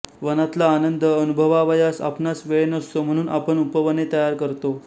वनातला आनंद अनुभवावयास आपणास वेळ नसतो म्हणुन आपण उपवने तयार करतो